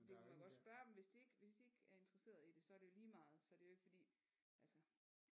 Vi kunne da godt spørge dem hvis de ikke er interesserede i det så er det jo lige meget så er det jo ikke fordi altså